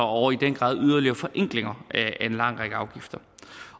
og i den grad yderligere forenklinger af en lang række afgifter